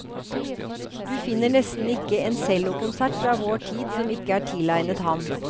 Du finner nesten ikke en cellokonsert fra vår tid som ikke er tilegnet ham.